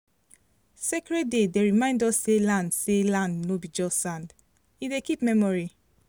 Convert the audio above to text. sacred day dey remind us say land say land no be just sand—e dey keep memory